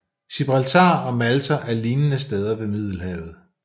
Gibraltar og Malta er lignende steder ved Middelhavet